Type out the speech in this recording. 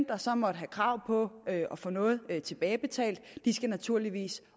der så måtte have krav på at få noget tilbagebetalt skal naturligvis